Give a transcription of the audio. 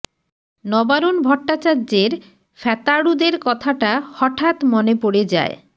নবারুণ ভট্টাচার্যের ফ্যাতাড়ুদের কথাটা হঠাৎ মনে পড়ে যায়